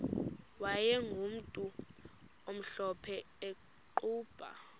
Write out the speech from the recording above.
wayegumntu omhlophe eqhuba